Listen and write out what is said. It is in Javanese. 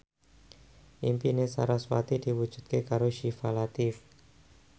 impine sarasvati diwujudke karo Syifa Latief